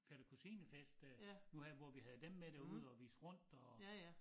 Fætter-kusine-fest øh nu her hvor vi havde dem med derude og vise rundt og